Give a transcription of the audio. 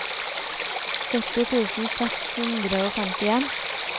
sytti tusen seks hundre og femtien